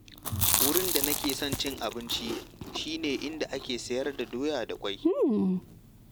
Wurin da nake son cin abinci shi ne inda ake sayar da doya da ƙwai.